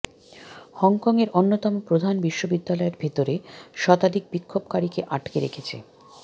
হংকংয়ের অন্যতম প্রধান বিশ্ববিদ্যালয়ের ভেতরে শতাধিক বিক্ষোভকারীকে আটকে রেখেছে